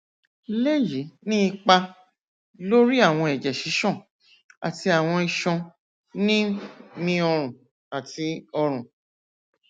le yi ni ipa lori awọn ẹjẹ sisan ati awọn iṣan ni mi ọrùn ati ọrùn